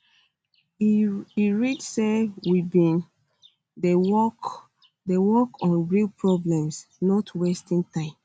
e um read say we bin dey work dey work on real problems um not wasting time